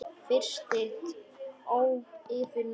Frystið yfir nótt.